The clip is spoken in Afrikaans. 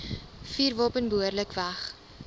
vuurwapen behoorlik weg